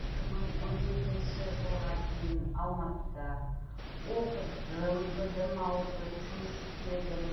екі мың он жетінші жылға дейін алматыда оқыдым білім алдым жұмыс істедім